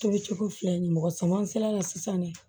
Tobicogo filɛ nin ye mɔgɔ sama seleke sisan de